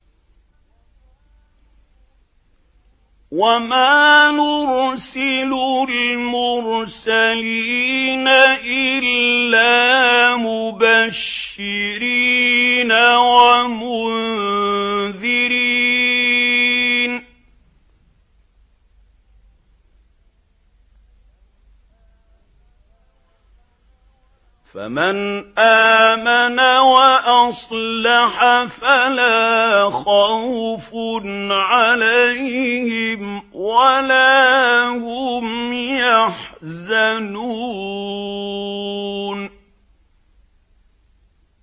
وَمَا نُرْسِلُ الْمُرْسَلِينَ إِلَّا مُبَشِّرِينَ وَمُنذِرِينَ ۖ فَمَنْ آمَنَ وَأَصْلَحَ فَلَا خَوْفٌ عَلَيْهِمْ وَلَا هُمْ يَحْزَنُونَ